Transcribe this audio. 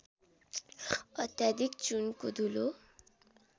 अत्याधिक चुनको धुलो